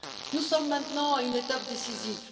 Nous sommes maintenant à une étape décisive.